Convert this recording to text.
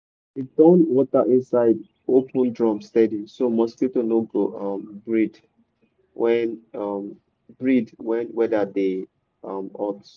dey turn water inside open drum steady so mosquito no go um breed when um breed when weather dey um hot.